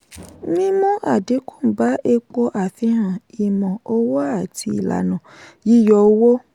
mímú àdínkù bá epo àfihàn ìmọ̀ owó àti ìlànà yíyọ owó.